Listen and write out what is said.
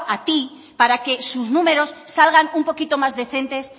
a tí para que sus números salgan un poquito más decentes